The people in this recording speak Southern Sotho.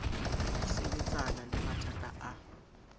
ho sebetsana le mathata a